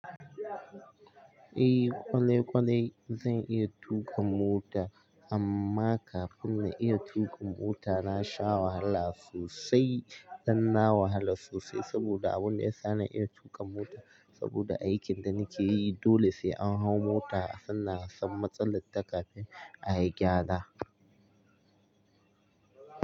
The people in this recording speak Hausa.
Eh kwane kwane zan iya tuƙa mota amma kafin na iya tuƙa mota na sha wahala sosai dan na wahala sosai saboda abun daya sani iya tuƙa mota saboda aikin da nike yi dole sai an hau mota sannan a san matsalal ta kafin ayi gyara.